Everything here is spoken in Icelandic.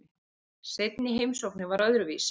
Seinni heimsóknin var öðruvísi.